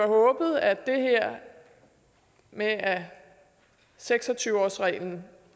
håbet at det her med at seks og tyve årsreglen